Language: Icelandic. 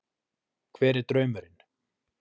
Hver er draumurinn?